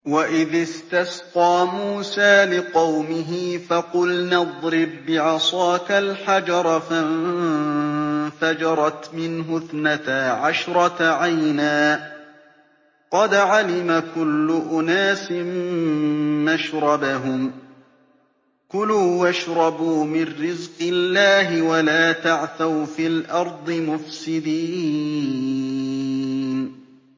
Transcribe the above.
۞ وَإِذِ اسْتَسْقَىٰ مُوسَىٰ لِقَوْمِهِ فَقُلْنَا اضْرِب بِّعَصَاكَ الْحَجَرَ ۖ فَانفَجَرَتْ مِنْهُ اثْنَتَا عَشْرَةَ عَيْنًا ۖ قَدْ عَلِمَ كُلُّ أُنَاسٍ مَّشْرَبَهُمْ ۖ كُلُوا وَاشْرَبُوا مِن رِّزْقِ اللَّهِ وَلَا تَعْثَوْا فِي الْأَرْضِ مُفْسِدِينَ